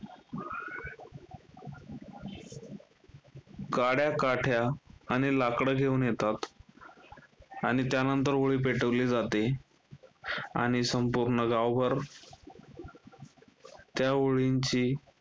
काड्या, काठ्या आणि लाकडं घेऊन येतात, आणि त्यानंतर होळी पेटवली जाते. आणि संपूर्ण गावभर त्या होळीची